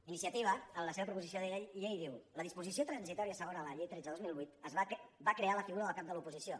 iniciativa en la seva proposició de llei diu la disposició transitòria segona de la llei tretze dos mil vuit va crear la figura del cap de l’oposició